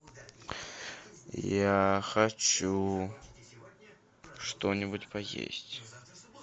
я хочу что нибудь поесть